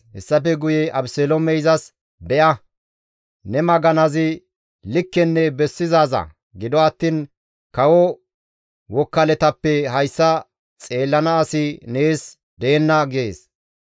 Hessafe guye Abeseloomey izas, «Be7a! Ne maganazi likkenne bessizaaza; gido attiin kawo wokkaletappe hayssa xeellana asi nees deenna» gees.